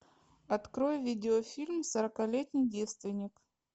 открой видеофильм сорокалетний девственник